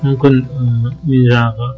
мүмкін ыыы мен жаңағы